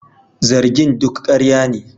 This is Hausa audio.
Zargin duk karya ne